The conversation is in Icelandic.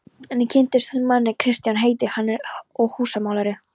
Enn kynnist hún manni, Kristján heitir hann og er húsamálari.